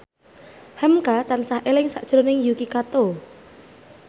hamka tansah eling sakjroning Yuki Kato